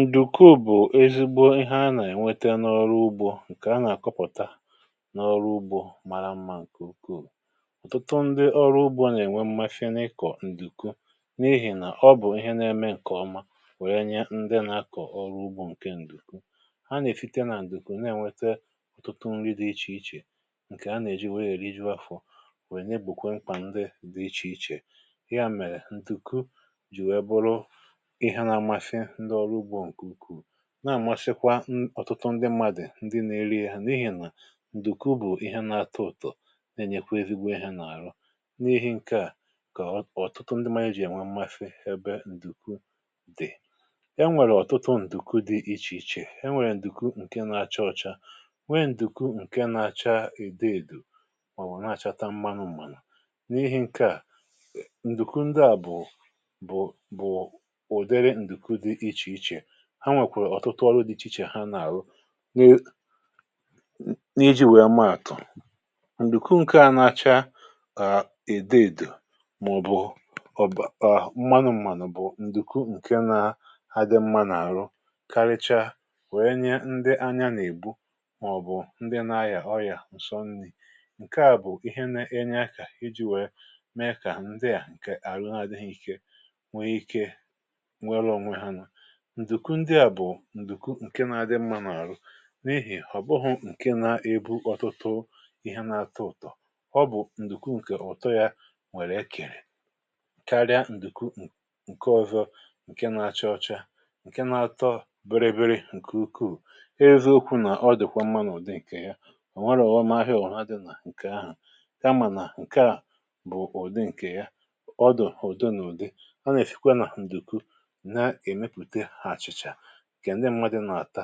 Ndùku bụ̀ ezigbo ihe a nà-ènwete n’ọrụ ugbȯ ǹkè a nà-àkọpụ̀ta n’ọrụ ugbȯ mara mma ǹkè ukwuù. Ọtụtụ ndị ọrụ ugbȯ nà-ènwe mmasi n’ịkọ̀ ǹdùku n’ihì nà ọ bụ̀ ihe na-eme ǹkè ọma wee nye ndị nà-akọ̀ ọrụ ugbȯ ǹke ǹdùku. Ha n’èsite nà ǹdùku nà-ènwete ọ̀tụtụ nri̇ dị ichè ichè ǹkè a nà-èji were erìjụ afọ̇ wee n’egbokwe mkpà ndị dị ichè ichè. Ya mèrè ǹdùku jì wee bụrụ ihe na àmasị ndị ọrụ ugbȯ nke ukwuu na àmasịkwa n ọ̀tụtụ ndị mmadụ̀ ndị na-eri ya n’ihi nà ǹdùkwu bụ̀ ihe na-atọ ụ̀tọ na-enyekwa ezigbo ihe n’àrụ. N’ihi ǹke à kà ọ̀ ọ̀tụtụ ndị mmadụ̀ jì enwe mmasị ebe ǹdùku dị̀. Enwèrè ọ̀tụtụ ǹdùku dị ichè ichè, enwèrè ǹdùku ǹke na-achọ ọcha, nwee ǹdùku ǹke na-acha ide èdù ọọ na-achata mmanụ m̀manụ n’ihi ǹke à ǹdùku ǹdị à bụ̀ bụ̀ bụ̀ ụdịrị nduku dị iche iche. Ha nwèkwàrà ọ̀tụtụ ọrụ dị ichè ichè ha nà-àrụ ni n’iji̇ wèe maàtụ̀; ǹdùkwu ǹkè a nà-acha ka èdèdo mà-ọ̀bụ̀ ọ̀bụ̀ ọ̀ mmanụ m̀manụ̀ bụ̀ ǹdùku ǹkè na-adị mmȧ n’àrụ karịcha wèe nye ndị anya nà-ègbu mà-ọ̀bụ̀ ndị nȧ-ayà ọyà ǹsọ nri. Nkè a bụ̀ ihe n’enye ȧkà iji̇ wèe mee kà ndị à ǹkè àrụ n’adịghị ikė nwee ikė nwere onwe ha nụ. Ndùku ndịà bụ̀ ǹdùku ǹke na-adị mmȧ n’àrụ n’ihì họ̀bụghụ̀ ǹke na-ebu ọtụtụ ihe na-atọ ụ̀tọ̀, ọ bụ̀ ǹdùku ǹkè ụ̀tọ yȧ nwèrè ekèrè karịa ǹdùku n ǹke ọ̇zọ̇ ǹke na-achọ ọcha ǹke na-atọ bịrị bịrị ǹke ukwuu. E eziokwu nà ọ dị̀kwa mmȧ n’ụ̀dị ǹkè ya, ọ̀ nwẹghị ọ̀ghọ̀m ahịa ọ̀bụ̀na dị̇ nà ǹkè ahụ̀ kamà nà ǹke à bụ̀ ụ̀dị ǹkè ya, ọ dị̀ ụ̀dị n’ụ̀dị. Ọ nà-èsìkwe nà ǹdùku na emepute achịcha ǹkè ndị mmadụ̀ nà-àta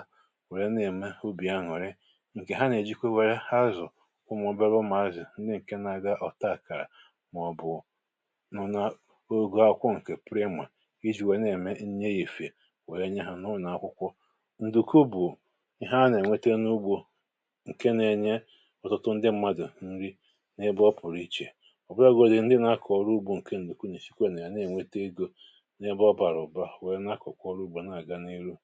wèrè na-ème obì aṅụ̀rị, ǹkè ha nà-èjikwa wèe hazụ ụmụ obere ụmụazị ndị ǹke na-aga ọ̀ta-akàrà mà-ọbụ̀ nọ̀ na ogȯ àkwụkwọ ǹkè prịmà ijì wèe na-ème nri efifè wèe nye hà n’ụnọ̀ akwụkwọ. Ndùku bụ̀ ihe a nà-ènwete n’ugbȯ ǹke na-enye ọtụtụ ndị mmadụ̀ nri n’ebe ọ pụ̀rụ ichè. Ọbụlagodị ndị na-akọ̀ ọrụ ugbȯ ǹkè ǹdùku nà-èsikwa nà ya na-ènwete egȯ n’ebe ọ̀bàrà ụ̀ba wee n’akọ̀kwa ọrụ ugbȯ wee n’aga n’iru